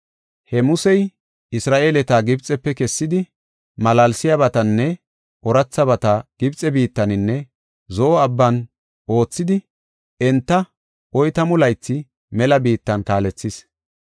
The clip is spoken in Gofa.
He Musey Isra7eeleta Gibxefe kessidi malaalsiyabatanne oorathabata Gibxe biittaninne Zo7o Abban oothidi enta oytamu laythi mela biittan kaalethis.